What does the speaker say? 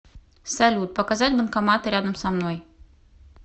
салют показать банкоматы рядом со мной